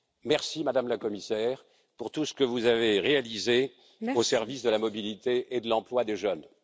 Merci, Madame la Commissaire, pour tout ce que vous avez réalisé au service de la mobilité et de l'emploi des jeunes.